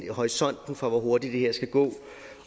horisonten for hvor hurtigt det her skal gå